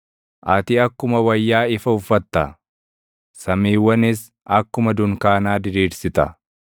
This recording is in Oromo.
Ati akkuma wayyaa ifa uffatta; samiiwwanis akkuma dunkaanaa diriirsita.